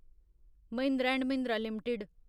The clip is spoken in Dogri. Mahindra and Mahindra limited